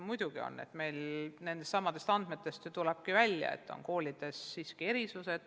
Nendest andmetest ju tulebki välja, et koolides on erisused.